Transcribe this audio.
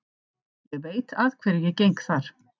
Ég veit að hverju ég geng þar.